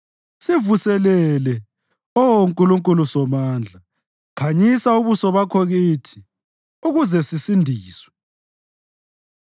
Sivuselele, Oh Nkulunkulu Somandla; khanyisa ubuso bakho kithi, ukuze sisindiswe.